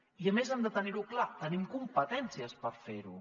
i a més hem de tenir ho clar tenim competències per fer ho